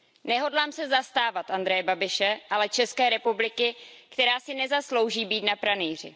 Nehodlám se zastávat Andreje Babiše, ale České republiky, která si nezaslouží být na pranýři.